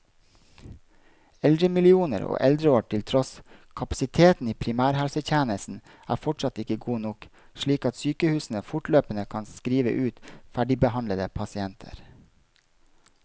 Eldremillioner og eldreår til tross, kapasiteten i primærhelsetjenesten er fortsatt ikke god nok, slik at sykehusene fortløpende kan skrive ut ferdigbehandlede pasienter.